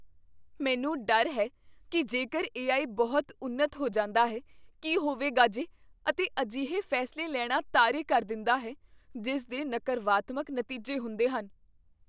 ਮੈਨੂੰ ਡਰ ਹੈ ਕੀ ਜੇਕਰ ਏ.ਆਈ. ਬਹੁਤ ਉੱਨਤ ਹੋ ਜਾਂਦਾ ਹੈ ਕੀ ਹੋਵੇਗਾ ਜੇ ਅਤੇ ਅਜਿਹੇ ਫੈਸਲੇ ਲੈਣਾ ਤਾਰੇ ਕਰ ਦਿੰਦਾ ਹੈ ਜਿਸ ਦੇ ਨਕਰਵਾਤਮਕ ਨਤੀਜੇ ਹੁੰਦੇ ਹਨ।